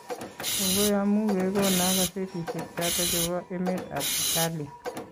Kongoi amu kegono kazetishek choto chebo emetab Italia